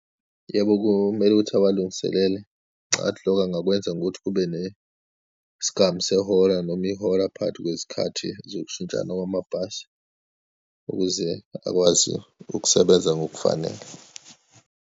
Yebo, komele ukuthi awalungiselele. Ngicabanga ukuthi loko angakwenza ngokuthi kube nesigamu sehora noma ihora phakathi kwezikhathi zokushintshana kwamabhasi ukuze akwazi ukusebenza ngokufanele.